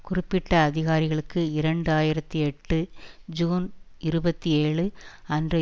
குறிப்பிட்ட அதிகாரிகளுக்கு இரண்டு ஆயிரத்தி எட்டு ஜூன் இருபத்தி ஏழு அன்று